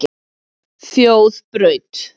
Þjóðbraut